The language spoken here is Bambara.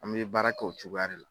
An bɛ baara kɛ o cogoya de la